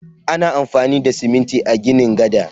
Ana amfani da siminti a ginin gada.